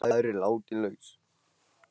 Maðurinn látinn laus